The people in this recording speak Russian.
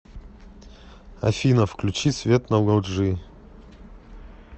афина включи свет на лоджии